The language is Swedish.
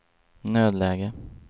nödläge